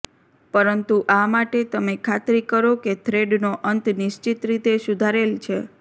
પરંતુ આ માટે તમે ખાતરી કરો કે થ્રેડનો અંત નિશ્ચિત રીતે સુધારેલ છે